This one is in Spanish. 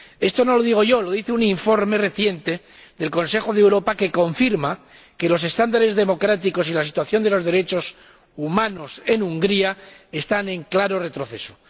Esto no lo digo yo, lo dice un informe reciente del Consejo de Europa que confirma que los estándares democráticos y la situación de los derechos humanos en Hungría están en claro retroceso.